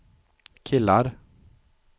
killar